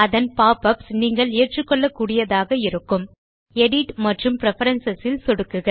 அதன் pop ups நீங்கள் ஏற்றுக்கொள்ளக்கூடியதாக இருக்கும் எடிட் மற்றும் பிரெஃபரன்ஸ் ல் சொடுக்குக